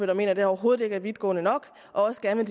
der mener at det overhovedet ikke er vidtgående nok og også gerne